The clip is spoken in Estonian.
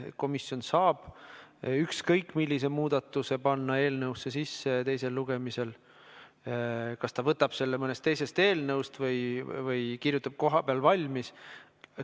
Komisjon saab ükskõik millise muudatuse panna teisel lugemisel eelnõusse sisse, ükskõik kas ta võtab selle mõnest teisest eelnõust või kirjutab kohapeal valmis.